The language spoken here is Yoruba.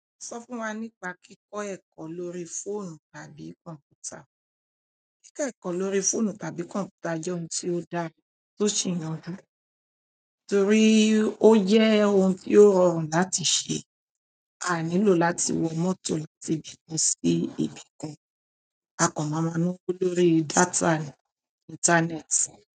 Sọ fún wa nípa kíkọ ẹ̀kọ́ lórí fóònù àbí kọ̀ǹpútà. Kíkọ ẹ̀kọ́ lórí fóònù tàbí kọ̀ǹpútà jẹ́ ohun tí ó dáa tó sì yanju, torí ó jẹ́ ohun tí ó rọrùn láti ṣe. A a nílò láti wọ mọ́tò látibi kan si ibi kan a kàn má máa nawo lórí data ni ìntánẹ́ẹ̀tì.